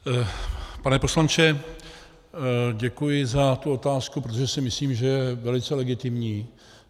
Pane poslanče, děkuji za tu otázku, protože si myslím, že je velice legitimní.